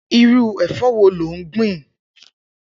Irù ẹfọ wò lò n gbin?